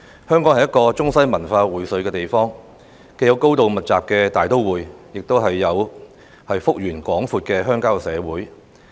香港是一個中西文化薈萃的地方，既有高度密集的大都會，亦有幅員廣闊的鄉郊社會。